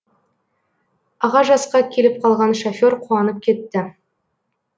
аға жасқа келіп қалған шофер қуанып кетті